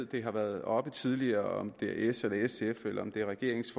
det har været oppe tidligere om det er s eller sf eller om det er regeringens